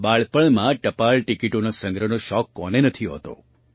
બાળપણમાં ટપાલ ટિકિટોના સંગ્રહનો શોખ કોને નથી હોતો